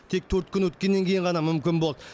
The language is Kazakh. тек төрт күн өткеннен кейін ғана мүмкін болды